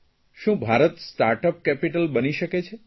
શું Bharat startup capital બની શકે છે